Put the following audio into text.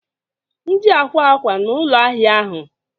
Ndi akwa akwa na ụlọ ahịa ahụ?